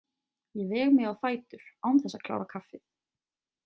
Ég veg mig á fætur án þess að klára kaffið.